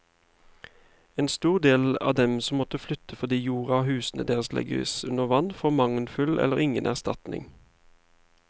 En stor del av dem som må flyttes fordi jorda og husene deres legges under vann, får mangelfull eller ingen erstatning.